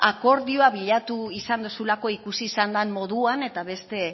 akordioa bilatu izan dozulako ikusi izan den moduan eta beste